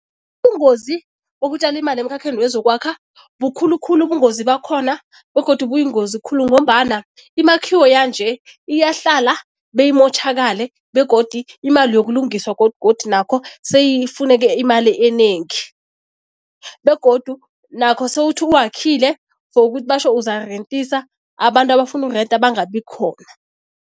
Bungozi bokutjala imali emkhakheni wezokwakha, bukhulu khulu ubungozi bakhona begodu buyingozi khulu ngombana imakhiwo yanje iyahlala beyimotjhakale begodu imali yokulungiswa godugodu nakho seyifuneke imali enengi begodu nakho sewuthi uwakhile, for ukuthi batjho uzarentisa, abantu abafuna ukurenta bangabi khona.